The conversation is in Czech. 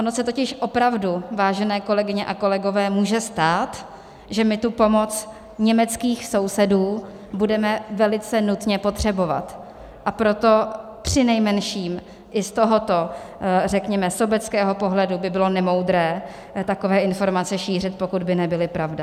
Ono se totiž opravdu, vážené kolegyně a kolegové, může stát, že my tu pomoc německých sousedů budeme velice nutně potřebovat, a proto přinejmenším i z tohoto, řekněme, sobeckého pohledu by bylo nemoudré takové informace šířit, pokud by nebyly pravda.